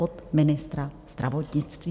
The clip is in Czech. Pod ministra zdravotnictví.